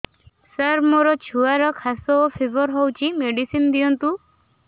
ସାର ମୋର ଛୁଆର ଖାସ ଓ ଫିବର ହଉଚି ମେଡିସିନ ଦିଅନ୍ତୁ